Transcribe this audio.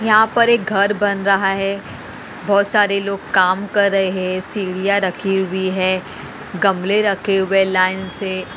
यहां पर एक घर बन रहा है। बहोत सारे लोग काम कर रहे हैं सीढ़ियां रखी हुई है गमले रखे हुए लाइन से--